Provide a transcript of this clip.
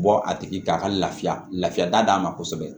Bɔ a tigi ka lafiya lafiya da d'a ma kosɛbɛ